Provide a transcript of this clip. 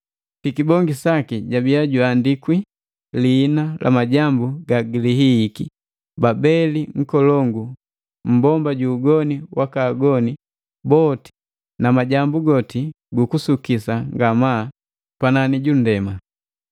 Pikibongi saki jabia juandikwi liina la majambu gagilihihiki, “Babeli nkolongu, mmbomba ju ugoni waka agoni boti na majambu goti gu kusukisa ngamaa pani pundema.”